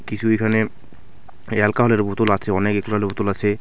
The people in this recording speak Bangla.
কিছু এখানে এই অ্যালকোহলের বোতল আছে অনেক একললের বোতল আছে।